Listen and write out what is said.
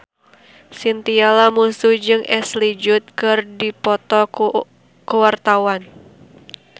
Chintya Lamusu jeung Ashley Judd keur dipoto ku wartawan